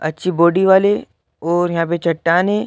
अच्छी बॉडी वाले और यहाँ पे चट्टान है।